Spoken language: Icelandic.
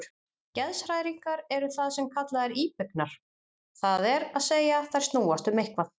Geðshræringar eru það sem kallað er íbyggnar, það er að segja þær snúast um eitthvað.